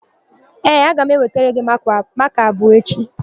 Ee, aga m ewetara gị makaa abụọ echi.